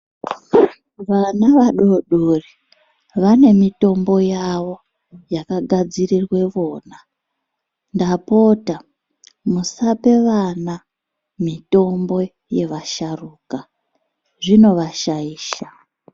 Vana vadodori vane mitombo yavo yakagadzirirwa vona , ndapota musape vana mitombo yevasharuka izvino vashaisha .